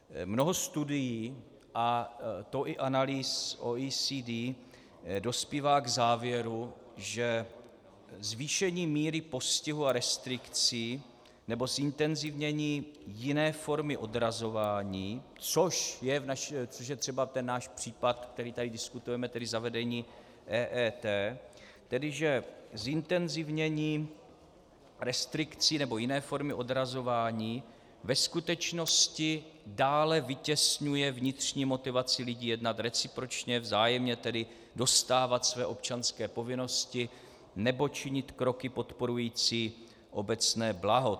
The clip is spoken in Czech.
Mnoho studií, a to i analýz OECD, dospívá k závěru, že zvýšení míry postihu a restrikcí nebo zintenzivnění jiné formy odrazování, což je třeba ten náš případ, který tady diskutujeme, tedy zavedení EET, tedy že zintenzivnění restrikcí nebo jiné formy odrazování ve skutečnosti dále vytěsňuje vnitřní motivaci lidí jednat recipročně vzájemně, tedy dostávat své občanské povinnosti nebo činit kroky podporující obecné blaho.